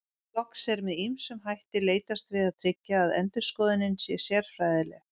Loks er með ýmsum hætti leitast við að tryggja að endurskoðunin sé sérfræðileg.